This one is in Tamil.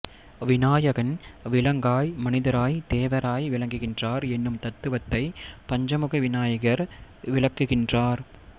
விதாயகன் விலங்காய் மனிதராய் தேவராய் விளங்குகின்றார் என்னும் தத்துவத்தை பஞ்சமுக விநாயகர் விளக்குகின்றார்